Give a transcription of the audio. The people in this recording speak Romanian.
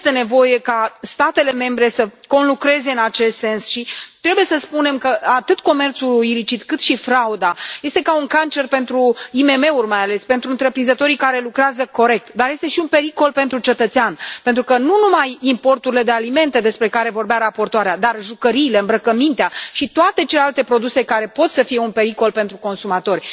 Este nevoie ca statele membre să conlucreze în acest sens și trebuie să spunem că atât comerțul ilicit cât și frauda sunt ca un cancer pentru IMM uri, mai ales, pentru întreprinzătorii care lucrează corect, dar sunt și un pericol pentru cetățean pentru că nu numai importurile de alimente despre care vorbea raportoarea, dar jucăriile, îmbrăcămintea și toate celelalte produse pot să fie un pericol pentru consumatori.